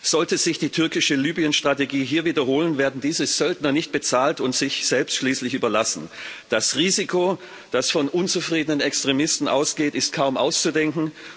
Sollte sich die türkische Libyen Strategie hier wiederholen, werden diese Söldner nicht bezahlt und schließlich sich selbst überlassen. Das Risiko, das von unzufriedenen Extremisten ausgeht, ist kaum auszudenken.